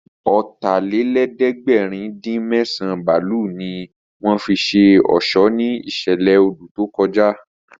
Ọ̀tàlélẹ̀ẹ́dẹ́gbẹ̀rin-dín-mẹ́sàn bálùnì ní wọ́n fi ṣe ọ̀ṣọ́ ní ìṣẹ̀lẹ̀ odù tó kọjá